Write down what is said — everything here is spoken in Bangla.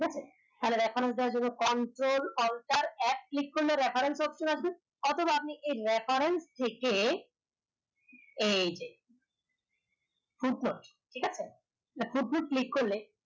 ঠিক আছে Ctrl Alt F click করলে Rafael তথ্য আসুক অথবা আপনি এই referral থেকে এই যে ঠিক আছে click করলে